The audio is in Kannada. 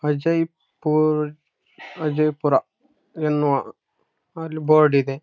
ಅಲ್ಲೂ ಅವ್ರೆಲ್ಲ ಏನೇನೊ ಮಾಡ್ಲಿಕತ್ತಾರ. ಆಟೋ ಗಿಟೊ. ಒಬ್ಬ ಯಾರೋ ಮುರ್ ಗಾಡಿ ಸೈಕಲ್ ತೊಗೊಂಡ್ ಹೊಂಟಾನ. ಯಾರೋ ಕಸ್ಟಮರ್ ಕ ಹತ್ತಿಸ್ಕೊಂಡ್ ಹೂಗಾಹಂತದು--